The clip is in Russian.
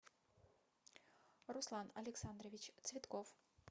руслан александрович цветков